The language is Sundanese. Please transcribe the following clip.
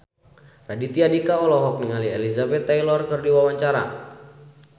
Raditya Dika olohok ningali Elizabeth Taylor keur diwawancara